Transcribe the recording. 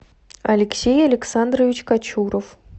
алексей александрович качуров